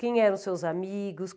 Quem eram os seus amigos?